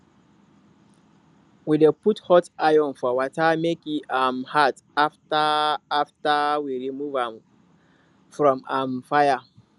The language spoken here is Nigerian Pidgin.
we dey put hot iron for water make e um hard after after we rmove am from um fire